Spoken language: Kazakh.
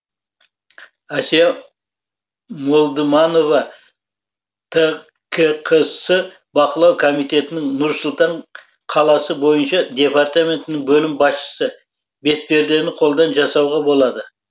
әсия молдыманова ткқс бақылау комитетінің нұр сұлтан қаласы бойынша департаментінің бөлім басшысы бетпердені қолдан жасауға болады